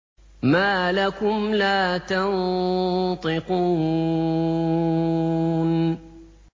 مَا لَكُمْ لَا تَنطِقُونَ